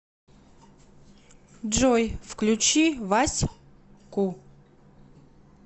джой включи вась ку